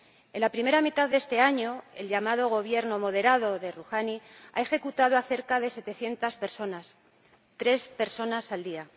En la primera mitad de este año, el llamado Gobierno moderado de Rohani ha ejecutado a cerca de setecientas personas tres personas al día.